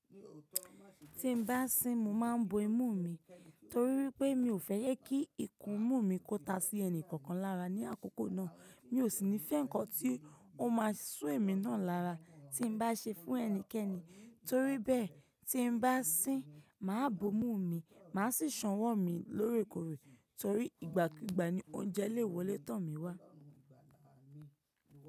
Tí n bá sín mo máa ń bo imú mi torí wípé mi ò fẹ́ kí ikùn imú mi kó ta sí ẹni kankan lára ní àkókò náà. Mi ò sì nífẹ̀ẹ́ nǹkan tí ó máa so èmi náà lára tí n bá ṣe fún ẹnikẹ́ni. Torí bẹ́ẹ̀ tí n bá sín, màá bo imú mi, màá sì sanwó mi lóòrèkóòrè torí ìgbàkígbà ni oúnjẹ léwọ le tan mí wá.